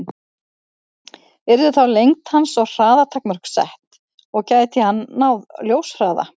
Yrðu þá lengd hans og hraða takmörk sett, og gæti hann náð ljóshraða?